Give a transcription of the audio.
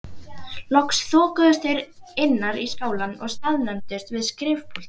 Loks þokuðust þeir innar í skálann og staðnæmdust við skrifpúltið.